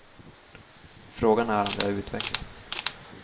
Frågan är om de har utvecklats.